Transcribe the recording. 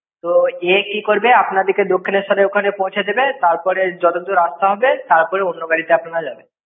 তো, এ কি করবে আপনাদেরকে দক্ষিণেশ্বেরের ওখানে পৌঁছে দেবে। তারপরে যতদূর রাস্তা হবে। তারপরে অন্য গাড়িতে আপনারা যাবেন।